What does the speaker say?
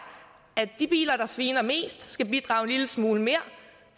at de biler der sviner mest skal bidrage en lille smule mere